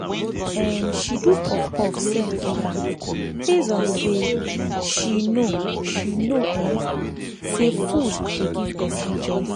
um she do puff puff send give am based on say she know she know um say food dey give person joy.